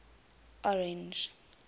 orange